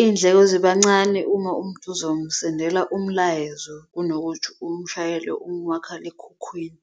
iy'ndleko ziba encane uma umuntu uzomsendela umlayezo kunokuthi umshayele umakhalekhukhwini.